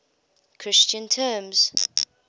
christian terms